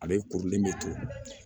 A bɛ kurulen de to